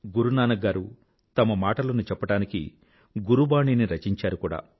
గురునానక్ గారు తన మాటలను చెప్పడానికి గురుబాణీని రచించారు కూడా